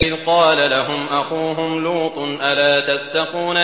إِذْ قَالَ لَهُمْ أَخُوهُمْ لُوطٌ أَلَا تَتَّقُونَ